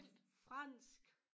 Og fransk